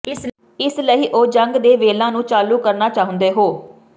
ਇਸ ਲਈ ਉਹ ਜੰਗ ਦੇ ਵੇਲਾ ਨੂੰ ਚਾਲੂ ਕਰਨਾ ਚਾਹੁੰਦੇ ਹੋ